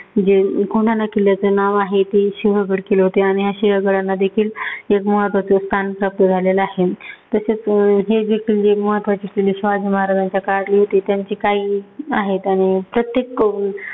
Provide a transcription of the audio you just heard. जे कोंढाणा किल्ल्याचे नाव आहे, ते सिंहगड केले होते. आणि असे या गडांना देखील महत्वाचे स्थान प्राप्त झालेलं आहे. तसेचं अं हे जे किल्ले, महत्वाचे किल्ले शिवाजी महाराजांच्या काळातले होते. त्यांची काही आहेत आणि प्रत्येक